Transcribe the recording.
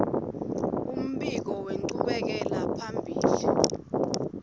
umbiko wenchubekela phambili